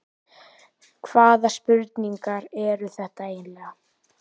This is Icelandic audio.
Hvaða spurningar eru þetta eiginlega?